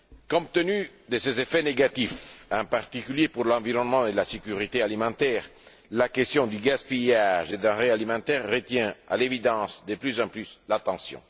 Compte tenu de ses effets négatifs, en particulier pour l'environnement et la sécurité alimentaire, la question du gaspillage des denrées alimentaires retient à l'évidence de plus en plus l'attention.